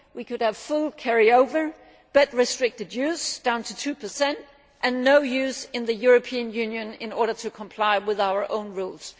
We could have full carry over but restricted use down to 2 and no use in the European Union in order to comply with our own rules.